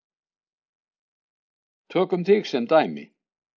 Tökum þig sem dæmi.